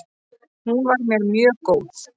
Hún var mér mjög góð.